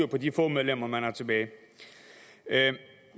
på de få medlemmer man har tilbage